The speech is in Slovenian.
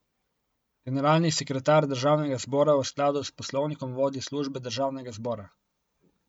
Generalni sekretar državnega zbora v skladu s poslovnikom vodi službe državnega zbora.